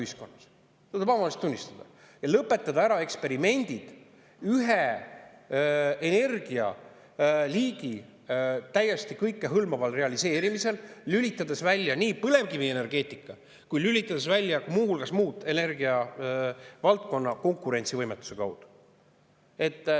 Seda tuleb avameelselt tunnistada ja lõpetada ära eksperimendid üht liiki energia täiesti kõikehõlmava realiseerimisega, lülitades välja nii põlevkivienergeetika kui ka lülitades välja muu energiavaldkonna konkurentsivõimetuse tõttu.